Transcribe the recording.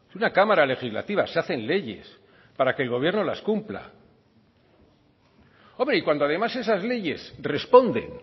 una cámara legislativa se hacen leyes para que el gobierno las cumpla hombre y cuando además esas leyes responden